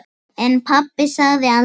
En pabbi sagði aldrei mikið.